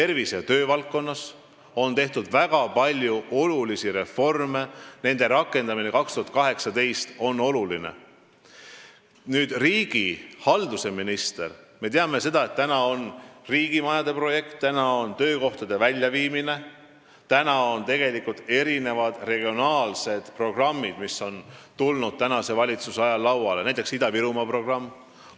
Riigihalduse ministri valdkonnas on, nagu me teame, praegu käsil riigimajade projekt, samuti töökohtade väljaviimine ning veel mõned regionaalsed programmid, näiteks Ida-Virumaa programm.